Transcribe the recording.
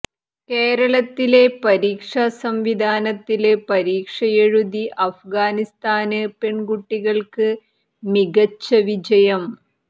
കേരളത്തിലെ പരീക്ഷാ സംവിധാനത്തില് പരീക്ഷയെഴുതി അഫ്ഗാനിസ്ഥാന് പെണ്കുട്ടിക്ക് മികച്ച വിജയം